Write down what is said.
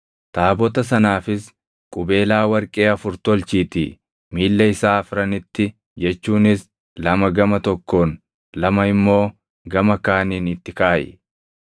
Taabota sanaafis qubeelaa warqee afur tolchiitii miilla isaa afranitti jechuunis lama gama tokkoon, lama immoo gama kaaniin itti kaaʼi.